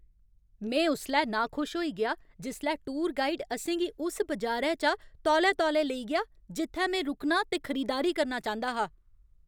में उसलै नाखुश होई गेआ जिसलै टूर गाइड असें गी उस बजारै चा तौले तौले लेई गेआ जित्थै में रुकना ते खरीदारी करना चांह्दा हा।